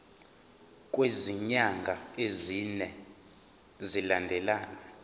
kwezinyanga ezine zilandelana